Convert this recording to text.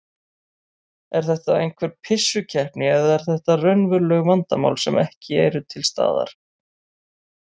Er þetta einhver pissukeppni eða eru þetta raunveruleg vandamál sem eru ekki til lausnir á?